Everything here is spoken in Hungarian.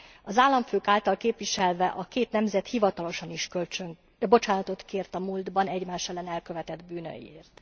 Az államfők által képviselve a két nemzet hivatalosan is bocsánatot kért a múltban egymás ellen elkövetett bűnökért.